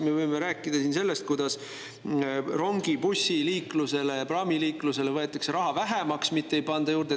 Me võime rääkida sellest, kuidas rongi‑, bussi‑ ja praamiliikluselt võetakse raha vähemaks, mitte ei panda juurde.